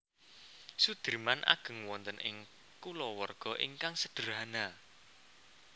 Soedirman ageng wonten ing kulawarga ingkang sedherhana